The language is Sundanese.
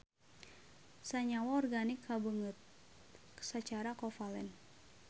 Sanyawa organik kabeungkeut sacara kovalen.